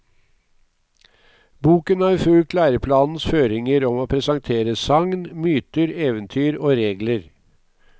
Boken har fulgt læreplanens føringer om å presentere sagn, myter, eventyr og regler.